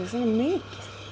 svona mikið